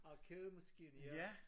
Arkademaskine ja